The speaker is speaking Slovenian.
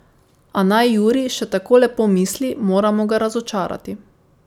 A naj Juri še tako lepo misli, moramo ga razočarati.